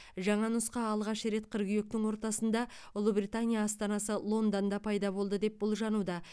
жаңа нұсқа алғаш рет қыркүйектің ортасында ұлыбритания астанасы лондонда пайда болды деп болжануда